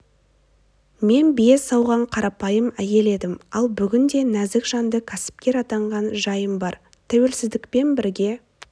мен бие сауған қарапайым әйел едім ал бүгінде нәзік жанды кәсіпкер атанған жайым бар тәуелсіздікпен бірге